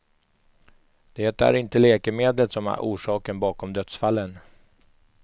Det är inte läkemedlet som är orsaken bakom dödsfallen.